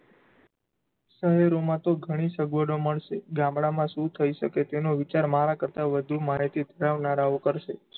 શહેરોમાં તો ઘણી સગવડો મળશે. ગામડામાં શું થયી શકે? તેનો વિચાર મારા કરતાં વધુ માહિતી ધરાવનારાઑ કરશે.